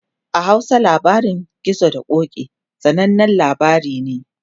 a Hausa labarin gizo da ƙoki, sananan labari ne